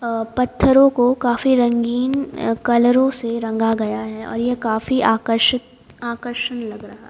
अ पत्थरों को काफी रंगीन कलरों से रंगा गया है और यह काफी आकर्षित आकर्षण लग रहा है।